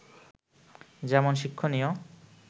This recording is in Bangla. যেমন শিক্ষণীয়